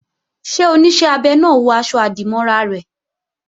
Ṣé Oníṣẹ́ abẹ náà wọ aṣọ-àdìmọ́ra rẹ̀?